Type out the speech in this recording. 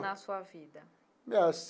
Na sua vida? Ah.